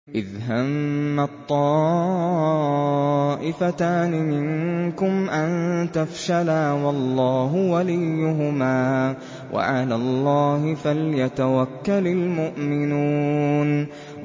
إِذْ هَمَّت طَّائِفَتَانِ مِنكُمْ أَن تَفْشَلَا وَاللَّهُ وَلِيُّهُمَا ۗ وَعَلَى اللَّهِ فَلْيَتَوَكَّلِ الْمُؤْمِنُونَ